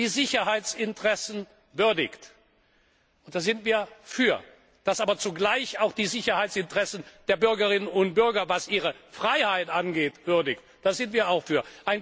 die Sicherheitsinteressen würdigt, da sind wir dafür, das aber zugleich auch die Sicherheitsinteressen der Bürgerinnen und Bürger, was ihre Freiheit angeht, würdigt, da sind wir auch dafür.